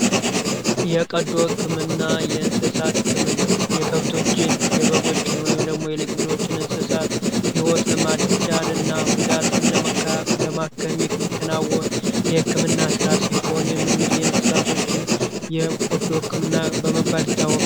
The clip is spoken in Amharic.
የቀዶ ሕክምና የእንስሳት ሕክምና የከብቶችን የበጎችን ወይም ደግሞ የሌግሎችን እንስሳት ሕይወት ለማዳንና ጉዳትን ለማከሚሚከናውሆን የሕክምና ሥራ ሲሆን ም እንግድ የእንስሳቶችን የቆዶ ሕክምና በመባል ይታወቃል።